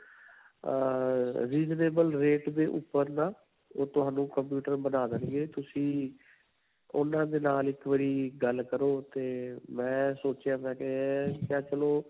ਅਅ Reasonable rate ਦੇ ਉਪਰ ਨਾ ਉਹ ਤੁਹਾਨੂੰ computer ਬਣਾ ਦੇਣਗੇ ਤੁਸੀਂ ਉਨ੍ਹਾਂ ਦੇ ਨਾਲ ਇਕ ਵਾਰੀ ਗੱਲ ਕਰੋ ਤੇ ਮੈ ਸੋਚਿਆ ਮੈ ਕਿਹਾ ਚਲੋ.